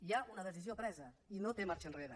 hi ha una decisió presa i no té marxa enrere